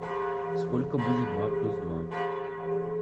сколько будет два плюс два